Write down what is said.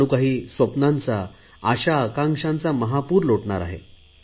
जणू काही स्वप्नांचा आशा आकांक्षांचा महापूर लोटणार आहे